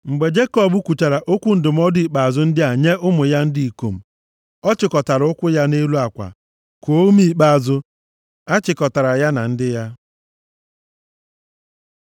Mgbe Jekọb kwuchara okwu ndụmọdụ ikpeazụ ndị a nye ụmụ ya ndị ikom, ọ chịkọtara ụkwụ ya nʼelu akwa, kuo ume ikpeazụ. A chịkọtara ya na ndị ya.